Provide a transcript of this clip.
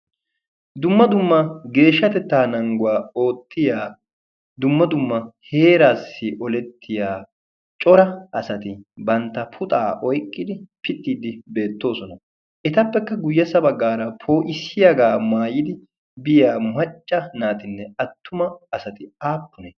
dumma dumma geeshshatettaa nangguwaa oottiya dumma dumma heeraassi olettiya cora asati bantta puxaa oyqqidi pittiiddi beettoosona. etappekka guyyessa baggaara pooisiyaagaa maayidi biya muhacca naatinne attuma asati aappune?